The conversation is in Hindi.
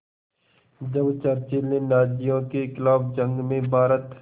जब चर्चिल ने नाज़ियों के ख़िलाफ़ जंग में भारत